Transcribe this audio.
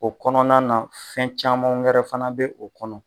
O kɔnɔna na fɛn caman wɛrɛ fana bɛ o kɔnɔ.